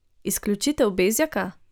Izključitev Bezjaka?